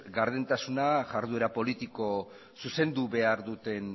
gardentasuna iharduera politiko zuzendu behar duten